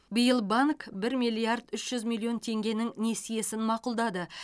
биыл банк бір миллиард үш жүз миллион теңгенің несиесін мақұлдады